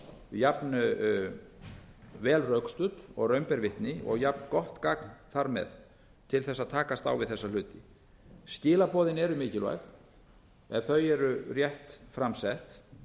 jafn vel rökstudd og raun ber vitni og jafn gott gagn þar með til þess að takast á við þessa hluti skilaboðin eru mikilvæg ef þau eru rétt fram sett